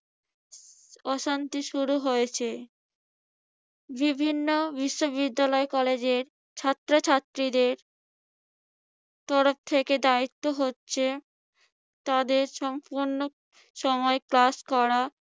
অশান্তি শুরু হয়েছে। বিভিন্ন বিশ্ববিদ্যালয় কলেজের ছাত্রছাত্রীদের তরফ থেকে দায়িত্ব হচ্ছে তাদের সম্পূর্ণ সময় ক্লাস করা,